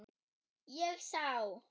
Ég sá